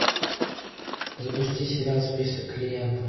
запусти сериал список клиентов